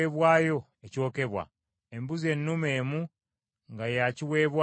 embuzi ennume emu nga ya kiweebwayo olw’ekibi;